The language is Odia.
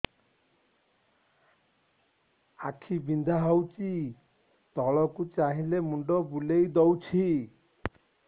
ଆଖି ବିନ୍ଧା ହଉଚି ତଳକୁ ଚାହିଁଲେ ମୁଣ୍ଡ ବୁଲେଇ ଦଉଛି